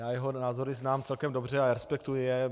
Já jeho názory znám celkem dobře a respektuji je.